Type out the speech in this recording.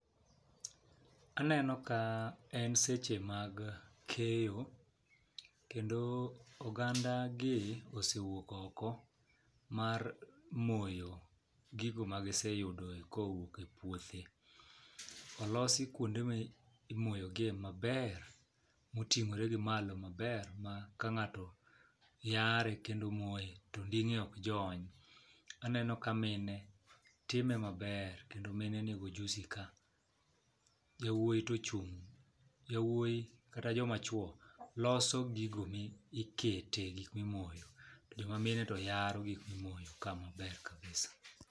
Aneno ka en seche mag keyo kendo oganda gi osewuok oko mar moyo gigo ma giseyudo kowuok e puothe .Olosi kuonde mi imoyo gie maber moting'ore gi malo maber ma ka ng'ato yare kendo moye to onding'e ok jony. Aneno ka mine time maber kendo mine nigi ojusi ka. Jowuowi to ochung' jowuowi kata joma chwo loso gigo ma iketo gik mimoyo. Jo mamine to yaro gik mimoyo ka maber kabisa .